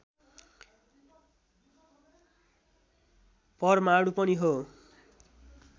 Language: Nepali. परमाणु पनि हो